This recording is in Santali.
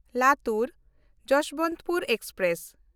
ᱞᱟᱛᱩᱨ–ᱡᱚᱥᱵᱚᱱᱛᱯᱩᱨ ᱮᱠᱥᱯᱨᱮᱥ